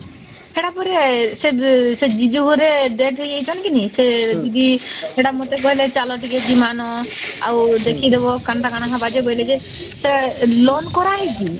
ସେଟ ପରା ସେ ଜିଜ ଘରେ death ହେଇଯାଇଛନ୍ତି କି ନାଇଁ ସେ ଦିଦି ସେଟା ମତେ କହିଲେ ଚାଲ ଟିକେ ଜିମାନ ଆଉ ଦେଖିଦବ କେନ୍ତା କଣ ହବାଯେ ବୋଇଲେ ଯେ ସେ loan କରାହେଇଛି